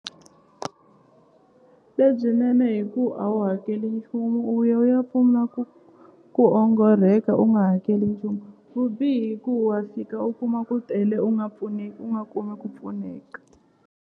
Lebyinene hi ku a wu hakeli nchumu u ya u ya pfuna ku ku ongorheka u nga hakeli nchumu vubihi ku wa fika u kuma ku tele u nga pfuneki u nga kumi ku pfuneka.